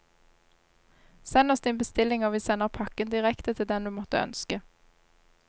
Send oss din bestilling og vi sender pakken direkte til den du måtte ønske.